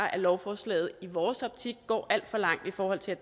at lovforslaget i vores optik går alt for langt i forhold til